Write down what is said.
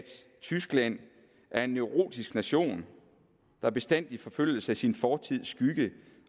tyskland er en neurotisk nation der bestandig forfølges af sin fortids skygge